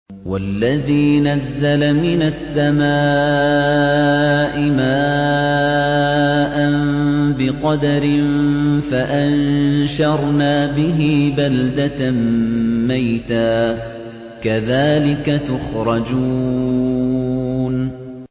وَالَّذِي نَزَّلَ مِنَ السَّمَاءِ مَاءً بِقَدَرٍ فَأَنشَرْنَا بِهِ بَلْدَةً مَّيْتًا ۚ كَذَٰلِكَ تُخْرَجُونَ